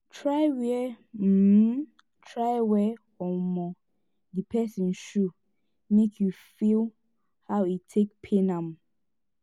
try wear um try wear um di pesin shoe mek you feel how e take pain am